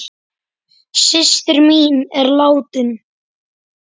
Systir mín er látin.